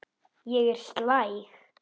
Ég er slæg.